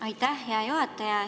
Aitäh, hea juhataja!